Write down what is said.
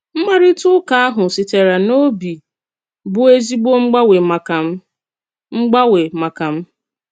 M̀kpàrịtà-ùkà ahụ sitere n’òbì bụ́ èzìgbò m̀gbàgwé màkà m. m̀gbàgwé màkà m.